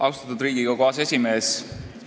Austatud Riigikogu aseesimees!